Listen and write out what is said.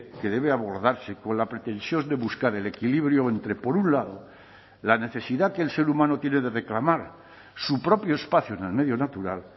que debe abordarse con la pretensión de buscar el equilibrio entre por un lado la necesidad que el ser humano tiene de reclamar su propio espacio en el medio natural